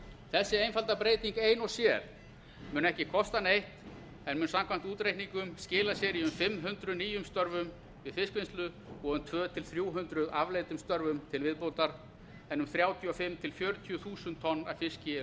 þessi einfalda breyting ein og sér mun ekki kosta neitt en mun samkvæmt útreikningum skila sér í um fimm hundruð nýjum störfum við fiskvinnslu og um t tvö hundruð til þrjú hundruð afleiddum störfum til viðbótar en um þrjátíu og fimm þúsund til fjörutíu þúsund tonn af fiski eru